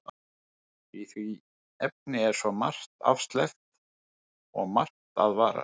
Í því efni er svo margt afsleppt og margt að varast.